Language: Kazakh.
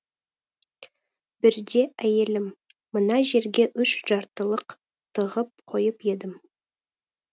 бірде әйелім мына жерге үш жартылық тығып қойып едім